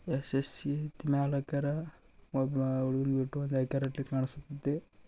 SSC ಮ್ಯಾಲ್ ಹಾಕ್ಯಾರ ಒಬ್ಬ ಹುಡ್ಗನ ಬಿಟ್ಟು ಡೈರೆಕ್ಟಲಿ ಕಾಣುಸ್ತಿತಿ.